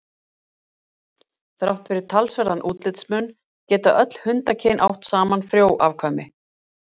þrátt fyrir talsverðan útlitsmun geta öll hundakyn átt saman frjó afkvæmi